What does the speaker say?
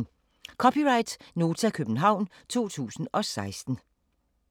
(c) Nota, København 2016